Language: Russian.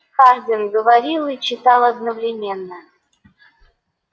хардин говорил и читал одновременно